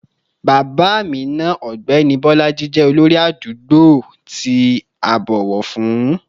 Bàbá Amina, ọ̀gbẹ́ni Bolaji, jẹ́ olórí àdúgbò tí a bọ̀wọ̀ fún